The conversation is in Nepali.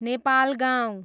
नेपालगाउँ